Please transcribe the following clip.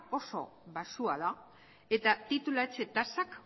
oso baxua da eta titulatze tasak